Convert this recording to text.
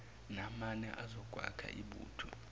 namane azokwakha ibutho